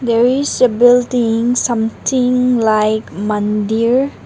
there is a building something like mandhir.